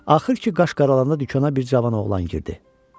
Axır ki, qaş qaralandan dükana bir cavan oğlan girdi.